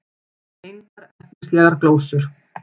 Engar ertnislegar glósur.